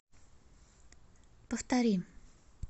повтори